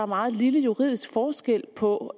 meget lille juridisk forskel på